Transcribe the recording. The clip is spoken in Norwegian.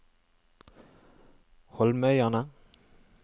Holmøyane